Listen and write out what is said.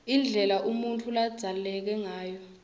indlela umuntfu ladzaleke ngayo